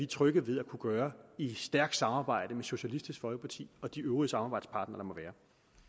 trygge ved at kunne gøre i et stærkt samarbejde med socialistisk folkeparti og de øvrige samarbejdspartnere der må være